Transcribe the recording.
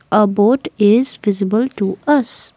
a boat is visible to us.